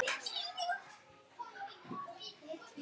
Ýta við mér í sætinu.